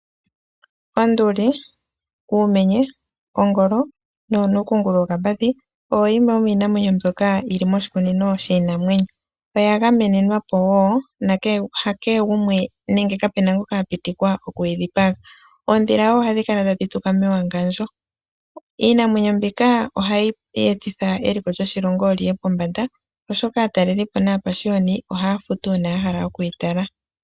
Onduli, uumenye, ongolo nonuukungulu wokapadhi oyo yimwe yomiinamwenyi mbyoka yiili moshikunino shinamwenyo oya gamenenwa powo hakehe gumwe nenge kapena ngoka apitikwa okuyi dhipaga. Oodhila wo ohadhi kala tadhi tuka mewangandjo. Iinamwenyo mbika ohayi etitha eliko lyoshilongo liye pombanda oshoka aatalelipo napashiyoni oha ya futu uuna yahala okuyi tala.